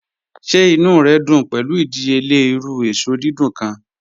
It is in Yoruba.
Ṣẹ̀ ìnú rẹ dún pẹ̀lu ìdíyèlẹ̀ irú èṣọ dídùn kan?